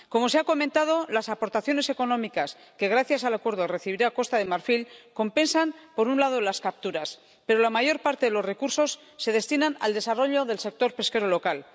Como se ha comentado, las aportaciones económicas que gracias al acuerdo recibirá Costa de Marfil compensan por un lado las capturas, pero la mayor parte de los recursos se destinan al desarrollo del sector pesquero local.